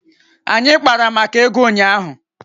Anyị kpara maka ego ụnyaahụ